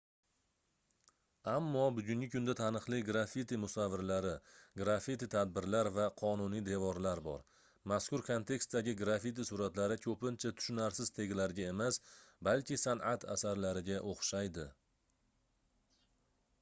ammo bugungi kunda taniqli grafiti musavvirlari grafiti tadbirlar va qonuniy devorlar bor mazkur kontekstdagi grafiti suratlari koʻpincha tushunarsiz teglarga emas balki sanʼat asarlariga oʻxshaydi